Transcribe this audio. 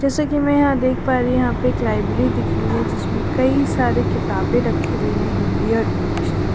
जैसा कि मैं यहां देख पा रही हूं यहां पे एक लाइब्रेरी दिख रही है जिसमें कई सारे किताबें रखी हुई है हिंदी और इंग्लिश की --